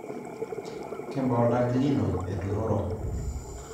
Kebaa oltanki lino oturoro?